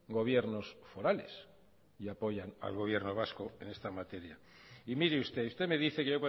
gobiernos forales y apoyan al gobierno vasco en esta materia y mire usted usted me dice que